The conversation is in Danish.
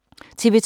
TV 2